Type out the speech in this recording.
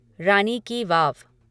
रानी ki वाव